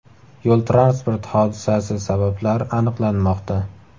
Yo‘l-transport hodisasi sabablari aniqlanmoqda.